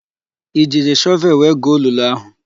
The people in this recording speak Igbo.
I jiri shọvelụ wee guo olulu áhụ̀?